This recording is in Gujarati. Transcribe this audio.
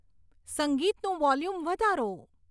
સંગીતનું વોલ્યુમ વધારો